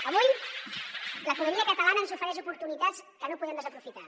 avui l’economia catalana ens ofereix oportunitats que no podem desaprofitar